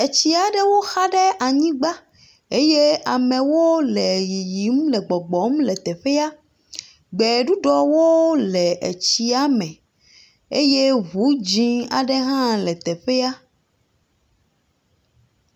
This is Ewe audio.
Tsi aɖewo xa ɖe anyigba eye amewo le yiyim le gbɔgbɔm le teƒea. Gbeɖuɖɔwo le tsia me eye ŋu dzɛ̃ aŋe hã le teƒea.